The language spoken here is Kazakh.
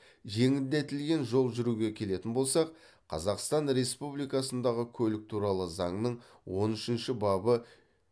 жеңілдетілген жол жүруге келетін болсақ қазақстан республикасындағы көлік туралы заңның он үшінші бабы